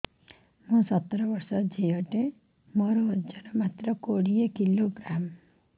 ମୁଁ ସତର ବର୍ଷ ଝିଅ ଟେ ମୋର ଓଜନ ମାତ୍ର କୋଡ଼ିଏ କିଲୋଗ୍ରାମ